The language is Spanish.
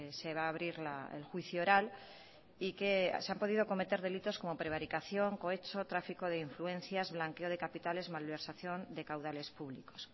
se va a abrir el juicio oral y que se han podido cometer delitos como prevaricación cohecho tráfico de influencias blanqueo de capitales malversación de caudales públicos